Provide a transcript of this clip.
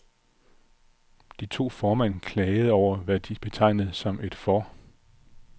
De to formænd klagede over, hvad de betegnede som et for